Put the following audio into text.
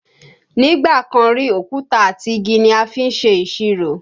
Nígbà kan rí, òkúta àti igi ni a fi ń ṣe ìṣirò